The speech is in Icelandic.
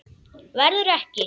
Verður ekki.